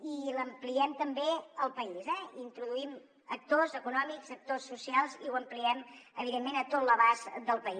i els ampliem també al país eh hi introduïm actors econòmics actors socials i ho ampliem evidentment a tot l’abast del país